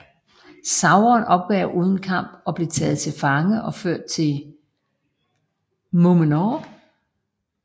Sauron opgav uden kamp og blev taget til fange og ført til numenor